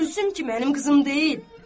Gülsüm ki, mənim qızım deyil.